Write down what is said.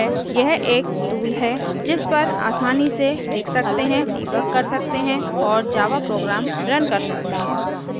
यह एक tool है जिस पर आसानी से लिख सकते हैं debug कर सकते हैं और java programs रन कर सकते हैं